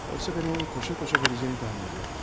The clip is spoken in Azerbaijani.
Oysa mən onun qoşa-qoşa gələcəyini təxmin edirdim.